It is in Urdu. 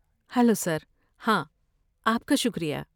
Hello sir! ہاں، آپ کا شکریہ